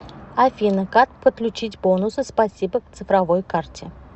афина как подключить бонусы спасибо к цифровой карте